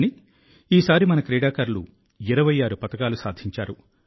కానీ ఈసారి మన క్రీడాకారులు 26 పతకాలు సాధించారు